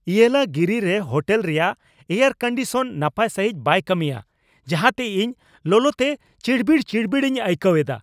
ᱤᱭᱮᱞᱟᱜᱤᱨᱤ ᱨᱮ ᱦᱳᱴᱮᱞ ᱨᱮᱭᱟᱜ air condition ᱱᱟᱯᱟᱭ ᱥᱟᱹᱦᱤᱡ ᱵᱟᱭ ᱠᱟᱹᱢᱤᱭᱟ ᱡᱟᱦᱟᱸᱛᱮ ᱤᱧ ᱞᱚᱞᱚᱛᱮ ᱪᱤᱲᱵᱤᱲᱼᱪᱤᱲᱵᱤᱲ ᱤᱧ ᱟᱹᱭᱠᱟᱹᱣ ᱮᱫᱟ ᱾